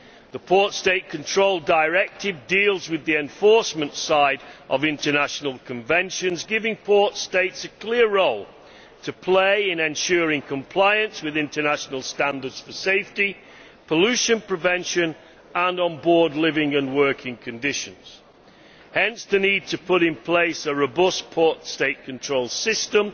The Port State Control Directive deals with the enforcement side of international conventions, giving port States a clear role to play in ensuring compliance with international standards for safety, pollution prevention and on board living and working conditions hence the need to put in place a robust port State control system